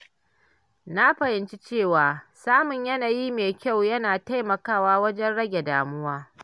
Na fahimci cewa samun yanayi mai kyau yana taimakawa wajen rage damuwa.